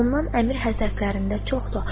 Ondan əmir həzərtlərində çoxdur.